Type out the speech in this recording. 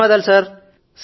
ధన్యవాదాలు సర్